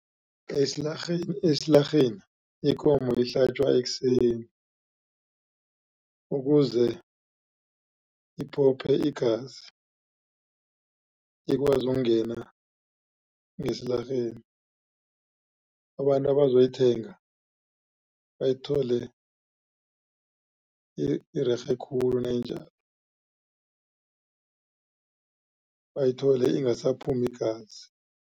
Esilarheni ikomo ihlatjwa ekuseni ukuze iphophe igazi ikwazi ukungena ngesilarheni abantu abazoyithenga bayithole irerhe khulu nayinjalo bayithole ingasaphumi igazi.